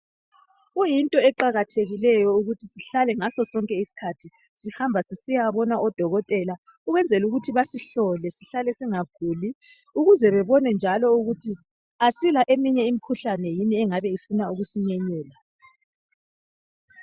Kuyinto eqakathekileyo ukuthi sihlale ngaso sonke isikhathi sihamba sisiyabona odokotela ukwenzela ukuthi basihlole sihlale singaguli, ukuze bebone njalo ukuthi asila eyinye imikhuhlane yini engabe ifuna ukusinyenyela.